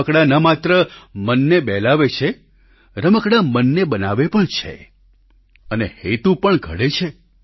રમકડાં ન માત્ર મનને બહેલાવે છે રમકડાં મનને બનાવે પણ છે અને હેતુ પણ ઘડે છે